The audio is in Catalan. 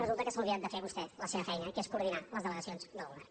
resulta que s’ha oblidat de fer vostè la seva feina que és coordinar les delegacions del govern